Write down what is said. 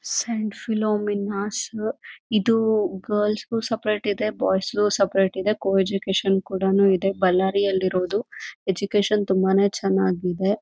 Scent philomena's ಇದು girls ಗು separate ಇದೆ ಬಾಯ್ಸ್ ಗು ಸಪರೇಟ್ ಇದೆ ಕೋ ಎಜುಕೇಷನ್ ಕೂಡ ಇದೆ ಬಳ್ಳಾರಿಯಲ್ಲಿರೋದು ಎಜುಕೇಷನ್ ತುಂಬಾನೇ ಚೆನ್ನಾಗಿದೆ.